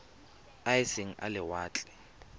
a e seng a lewatle